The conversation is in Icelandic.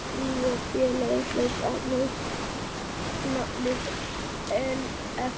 Nýja félagið hlaut nafnið Efling.